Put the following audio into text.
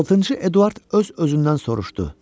Altıncı Eduard öz-özündən soruşdu: